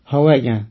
ହଉ ଆଜ୍ଞା